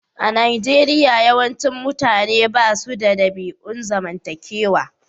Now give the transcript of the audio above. A Nijeriya, yawancin mutane ba su da ɗabi'un zamantakewa.